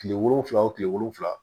Kile wolonfila wo tile wolonfila